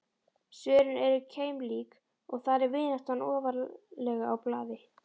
Svörin eru keimlík og þar er vináttan ofarlega á blaði.